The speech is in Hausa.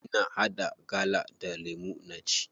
Ina haɗa gala da lemu na ci.